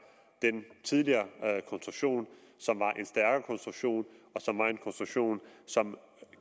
den tidligere konstruktion som var en stærkere konstruktion og som var en konstruktion som